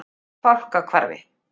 Fákahvarfi